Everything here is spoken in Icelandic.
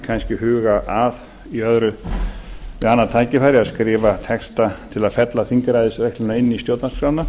kannski huga að við annað tækifæri að skrifa texta til að fella þingræðisregluna inn í stjórnarskrána